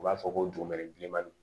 U b'a fɔ ko dugumɛnɛ bilenman ni